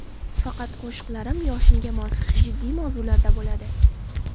Faqat qo‘shiqlarim yoshimga mos, jiddiy, mavzularda bo‘ladi.